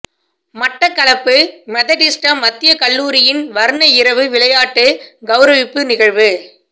மட்டக்களப்பு மெதடிஸ்த மத்திய கல்லூரியின் வர்ண இரவு விளையாட்டு கௌரவிப்பு நிகழ்வு